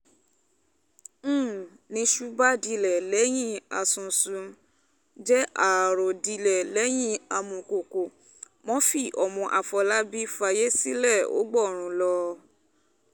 n ní iṣu bá dilẹ̀ lẹ́yìn àsunsun-jẹ àárò dilẹ̀ lẹ́yìn àmùkọ́kọ murphy ọmọ àfọlábàbí fáyé sílẹ̀ ó gbórun lọ